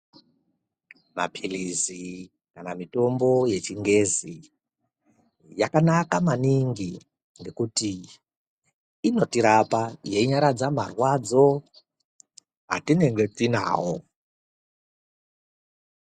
Maphilizi kana mitombo yechingezi, yakanaka maningi ngekuti inotirapa, yeinyaradza marwadzo, atinenge tinawo.